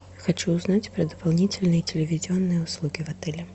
хочу узнать про дополнительные телевизионные услуги в отеле